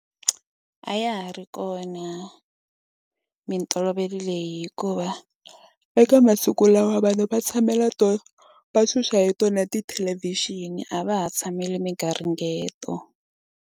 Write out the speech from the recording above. A ya ha ri kona mintolovelo leyi hikuva eka masiku lawa vanhu va tshamela to va xuxa hi tona tithelevixini a va ha tshameli migaringeto.